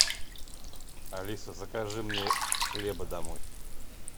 алиса закажи мне хлеба домой